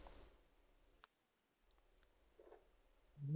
ਹੂੰ